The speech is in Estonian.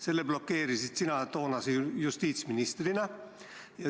Selle blokeerisid sina toonase justiitsministrina.